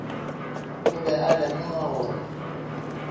o be a lemoga gore